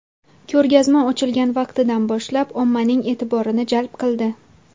Ko‘rgazma ochilgan vaqtidan boshlab ommaning e’tiborini jalb qildi.